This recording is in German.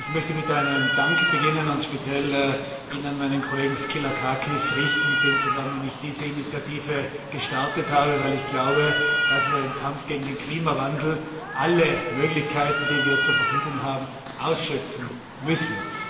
Ich möchte mit einem Dank beginnen und diesen speziell an meinen Kollegen Skylakakis richten, mit dem zusammen ich diese Initiative gestartet habe, weil ich glaube, dass wir im Kampf gegen den Klimawandel alle Möglichkeiten, die wir zur Verfügung haben, ausschöpfen müssen.